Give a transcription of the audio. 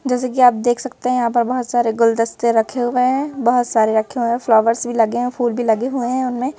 जैसे कि आप देख सकते हैं यहां पर बहुत सारे गुलदस्ते रखे हुए हैं बहुत सारे रखे हुए हैं फ्लावर्स भी लगे हैं फूल भी लगे हुए हैं उनमें।